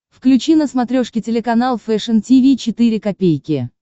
включи на смотрешке телеканал фэшн ти ви четыре ка